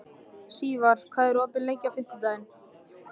Sívar, hvað er opið lengi á fimmtudaginn?